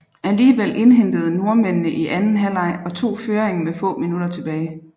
Alligevel indhentede nordmændene i anden halvleg og tog føringen med få minutter tilbage